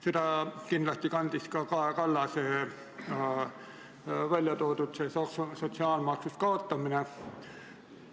Seda ideed kandis kindlasti ka Kaja Kallase tõstatatud sotsiaalmaksu kaotamine.